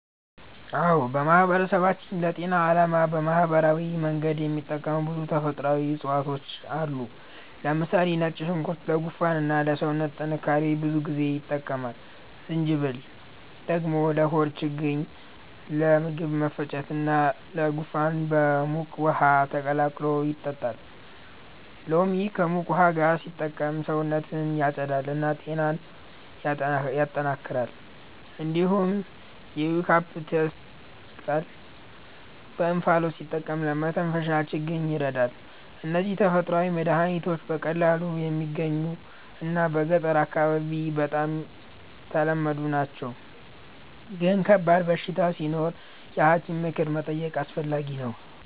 አዎን፣ በማህበረሰባችን ለጤና ዓላማ በባህላዊ መንገድ የሚጠቀሙ ብዙ ተፈጥሯዊ እፅዋት አሉ። ለምሳሌ ነጭ ሽንኩርት ለጉንፋን እና ለሰውነት ጥንካሬ ብዙ ጊዜ ይጠቀማል። ጅንጅብል ደግሞ ለሆድ ችግኝ፣ ለምግብ መፈጨት እና ለጉንፋን በሙቅ ውሃ ተቀላቅሎ ይጠጣል። ሎሚ ከሙቅ ውሃ ጋር ሲጠቀም ሰውነትን ያጸዳል እና ጤናን ያጠናክራል። እንዲሁም የዩካሊፕተስ ቅጠል በእንፋሎት ሲጠቀም ለመተንፈሻ ችግኝ ይረዳል። እነዚህ ተፈጥሯዊ መድሀኒቶች በቀላሉ የሚገኙ እና በገጠር አካባቢ በጣም ተለመዱ ናቸው፣ ግን ከባድ በሽታ ሲኖር የሐኪም ምክር መጠየቅ አስፈላጊ ነው።